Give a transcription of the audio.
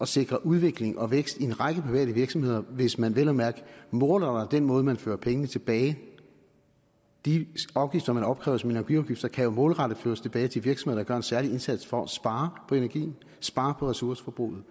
sikre udvikling og vækst i en række private virksomheder hvis man vel at mærke målretter den måde hvorpå man fører pengene tilbage de afgifter man opkræver som energiafgifter kan jo målrettet føres tilbage til virksomheder der gør en særlig indsats for at spare på energien spare på ressourceforbruget